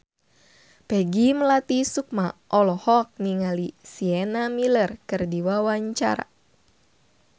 Peggy Melati Sukma olohok ningali Sienna Miller keur diwawancara